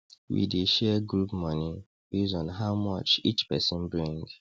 we dey share group money base on how much each person bring